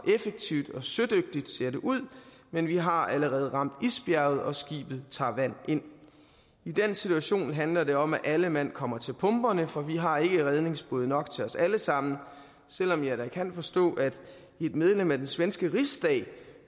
effektivt og sødygtigt ser det ud men vi har allerede ramt isbjerget og skibet tager vand ind i den situation handler det om at alle mand kommer til pumperne for vi har ikke redningsbåde nok til os alle sammen selv om jeg da kan forstå at et medlem af den svenske rigsdag